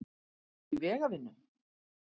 Ertu ekki í vegavinnu?